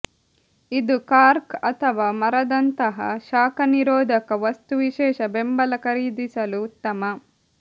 ಇದು ಕಾರ್ಕ್ ಅಥವಾ ಮರದಂತಹ ಶಾಖ ನಿರೋಧಕ ವಸ್ತು ವಿಶೇಷ ಬೆಂಬಲ ಖರೀದಿಸಲು ಉತ್ತಮ